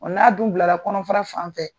N'a dun bilara kɔnɔfara sanfɛ